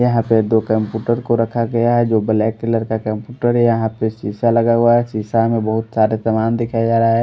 यहाँ पे दो कैमपुटर को रखा गया है जो ब्लैक कलर का कैमपुटर है यहाँ पे शीशा लगा हुआ है शीशा में बहुत सारे सामान दिखाया जा रहा है।